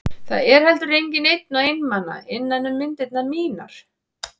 Það er heldur enginn einn og einmana innan um myndirnar mínar.